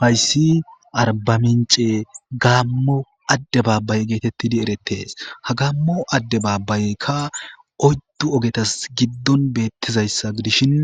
Hayssi arbamince gaammo adde baabbaye geetettidi erettees ha gaammo adde baabbayeykka oyddu ogetas giddon beettizayssa gidishin